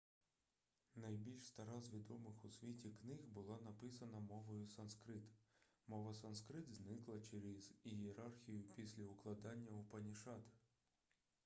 найбільш стара з відомих у світі книг була написана мовою санскрит мова санскрит зникла через ієрархію після укладання упанішад